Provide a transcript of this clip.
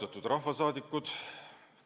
Austatud rahvasaadikud!